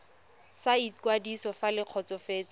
sa ikwadiso fa le kgotsofetse